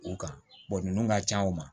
U kan ninnu ka can u ma